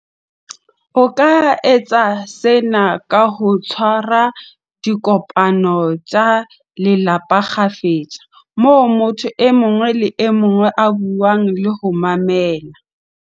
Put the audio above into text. O ka etsa sena ka ho tshwa ra dikopano tsa lelapa kgafetsa, moo motho e mong le e mong a buang le ho mamela.